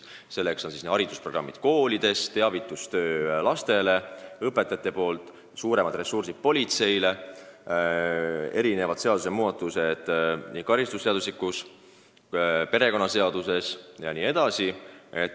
Selleks on koolides haridusprogrammid, õpetajad teevad teavitustööd, politsei käsutuses peaks olema suuremad ressursid, karistusseadustikus ja perekonnaseaduses tuleks teha muudatusi jne.